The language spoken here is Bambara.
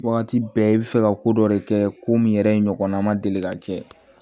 Wagati bɛɛ i bɛ fɛ ka ko dɔ de kɛ ko min yɛrɛ ɲɔgɔnna ma deli ka kɛ